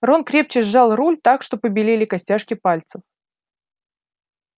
рон крепче сжал руль так что побелели костяшки пальцев